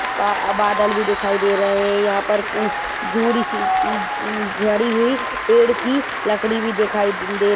बा-बादल भी दिखाई दे रहे हैं यहाँ पर जु-अ जड़ी हुई पेड़ की लकड़ी भी दिखाई दे--